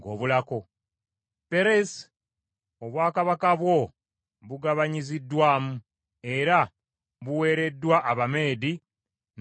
“ Peres: Obwakabaka bwo bugabanyiziddwamu, era buweereddwa Abameedi n’Abaperusi.”